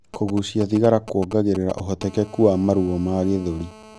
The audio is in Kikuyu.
Kugucia thigara kuongagirira uhotekeku wa maruo ma gĩthũri